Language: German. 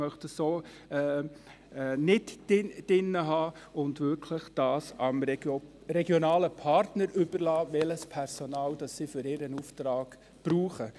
Die GSoK möchte dies nicht drin haben und es wirklich den regionalen Partnern überlassen, welches Personal sie für ihren Auftrag brauchen.